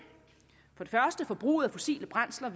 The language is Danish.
for det første ventes forbruget af fossile brændsler